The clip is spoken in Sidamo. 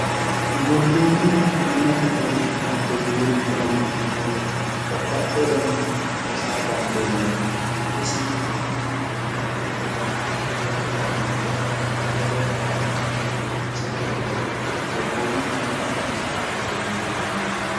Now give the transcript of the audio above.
gobboommu ayimmate xawishshi karde biirubba yineemmoete babbaxxi udaninni xawisa dandiineemmo isino hattono babbaxxi udaniinni anga amande hatte gobbaha ikka xawinsanni doogo gobboommu ayimmate xawishshi kaarde biirubba yineemmo